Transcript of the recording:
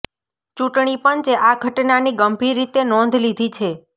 ચૂંટણી પંચે આ ઘટનાની ગંભીર રીતે નોંધ લીધી છે